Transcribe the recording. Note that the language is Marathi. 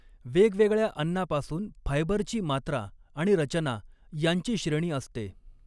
वेगवेगळ्या अन्नापासून फायबरची मात्रा आणि रचना या़ंची श्रेणी असते.